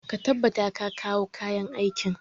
Ka tabbata ka kawo kayan aikin!